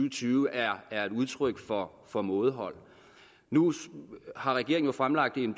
og tyve er er et udtryk for for mådehold nu har regeringen jo fremlagt en